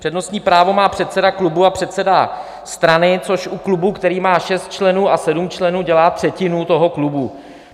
Přednostní právo má předseda klubu a předseda strany, což u klubu, který má šest členů a sedm členů, dělá třetinu toho klubu.